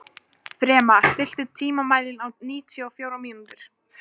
Fema, stilltu tímamælinn á níutíu og fjórar mínútur.